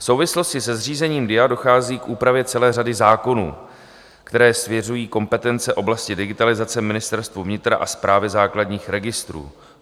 V souvislosti se zřízením DIA dochází k úpravě celé řady zákonů, které svěřují kompetence oblasti digitalizace Ministerstvu vnitra a Správě základních registrů.